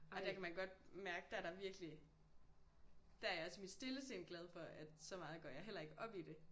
Og der kan man godt mærke der der virkelig. Der er jeg også i mit stille sind glad for at så meget går jeg heller ikke op i det